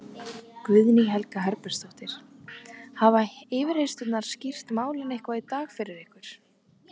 Guðný Helga Herbertsdóttir: Hafa yfirheyrslurnar skýrt málin eitthvað í dag fyrir ykkur?